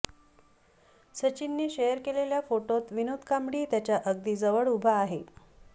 सचिनने शेअर केलेल्या फोटोत विनोद कांबळी त्याच्या अगदी जवळ उभा आहे